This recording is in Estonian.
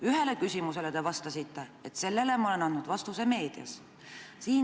Ühele küsimusele te vastasite, et sellele te olete andnud vastuse meedias.